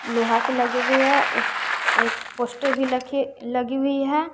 लोहा के लगी हुई है उस एक पोस्टर भी रखे लगी हुई है।